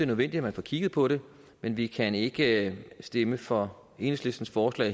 nødvendigt at man får kigget på det men vi kan ikke stemme for enhedslistens forslag